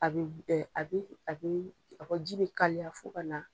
A bɛ a bɛ a bɛ ji bɛ kaliya fo ka na.